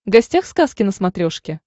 гостях сказки на смотрешке